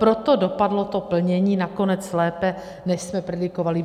Proto dopadlo to plnění nakonec lépe, než jsme predikovali.